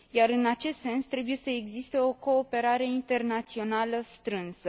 în acest sens, trebuie să existe o cooperare internațională strânsă.